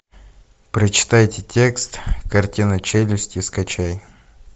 прочитайте текст картина челюсти скачай